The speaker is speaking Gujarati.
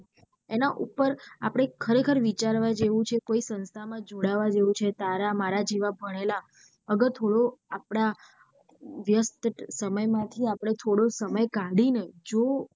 એના ઉપર આપડે ખરે ખાર વિચારવા જેવું છે કોઈ સંસ્થા માં જોડાવા જેવું છે તારા માર જેવા ભણેલા અગર થોડો આપડા વ્યસ્ત સમય માંથી આપડે થોડો સમય કાઢી ને જો.